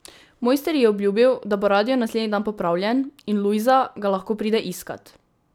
Mojster ji je obljubil, da bo radio naslednji dan popravljen, in Lujza ga lahko pride iskat.